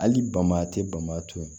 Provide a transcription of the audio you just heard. Hali bama te bama to yen